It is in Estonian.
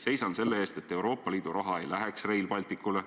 "Seisan selle eest, et Euroopa Liidu raha ei läheks Rail Balticule.